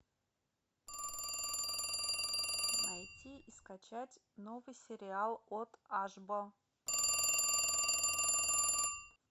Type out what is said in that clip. найти и скачать новый сериал от ашбо